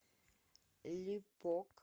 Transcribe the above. липок